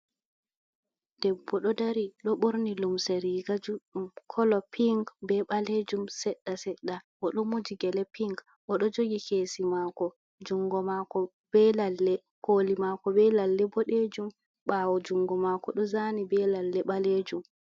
Debbo ɗo dari ɗo borniy lumse riga juɗɗum kolo ping be ɓalejum seɗɗa seɗɗa, o ɗo moji gele ping oɗo jogi kesi mako jungo mako koli mako be lalle boɗejum, ɓawo jungo mako ɗo zani be lalle ɓalejum.